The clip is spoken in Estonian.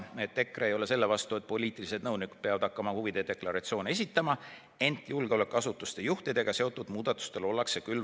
EKRE ei ole selle vastu, et poliitilised nõunikud peavad hakkama huvide deklaratsiooni esitama, küll aga ollakse vastu julgeolekuasutuste juhtidega seotud muudatusele.